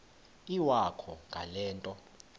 iwakho ngale nto